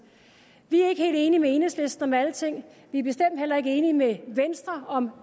vi er ikke helt enige med enhedslisten om alting vi er bestemt heller ikke enige med venstre om